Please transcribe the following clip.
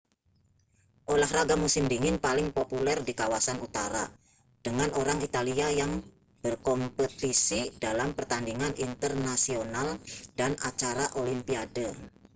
olahraga musim dingin paling populer di kawasan utara dengan orang italia yang berkompetisi dalam pertandingan internasional dan acara olimpiade